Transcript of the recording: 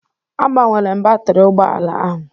Agbanwere m batrị ụgbọ ala ahụ